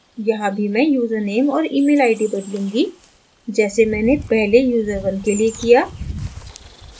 यहाँ भी मैं यूज़रनेम और email id बदलूँगी जैसे मैंने पहले user1 के लिए किया